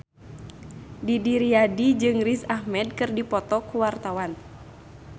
Didi Riyadi jeung Riz Ahmed keur dipoto ku wartawan